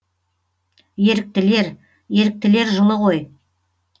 еріктілер еріктілер жылы ғой